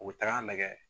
U bɛ taga nɛgɛ